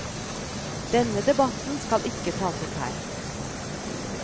Denne debatten skal ikke tas opp her.